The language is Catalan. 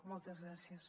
moltes gràcies